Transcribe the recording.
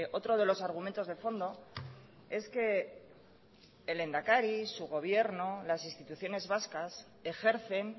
otro de los argumentos de fondo es que el lehendakari su gobierno las instituciones vascas ejercen